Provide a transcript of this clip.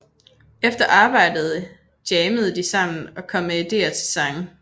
Efter arbejdet jammede de sammen og kom med ideer til sange